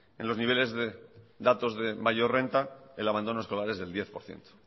en los niveles de datos de mayor renta el abandono escolar es del diez por ciento